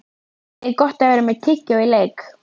Er Gott að vera með tyggjó í leik?